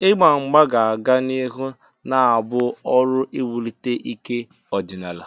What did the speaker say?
Igba mgba ga-aga n'ihu na-abụ ọrụ iwulite ike ọdịnala.